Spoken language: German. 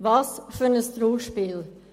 Welch ein Trauerspiel!